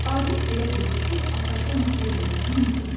Adil elə bildi ki, atası ona pul verməyi unudub.